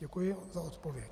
Děkuji za odpověď.